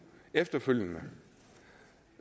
efterfølgende